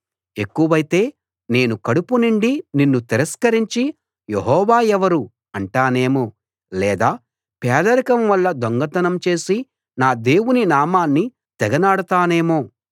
ఎక్కువైతే నేను కడుపు నిండి నిన్ను తిరస్కరించి యెహోవా ఎవరు అంటానేమో లేదా పేదరికం వల్ల దొంగతనం చేసి నా దేవుని నామాన్ని తెగనాడతానేమో